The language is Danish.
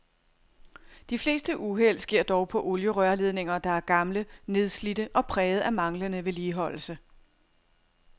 De fleste uheld sker dog på olierørledninger, der er gamle, nedslidte og præget af manglende vedligeholdelse.